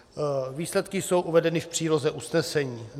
Výsledky jsou uvedeny v příloze usnesení.